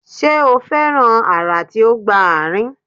Ṣe o fẹran ara ti o gba aarin?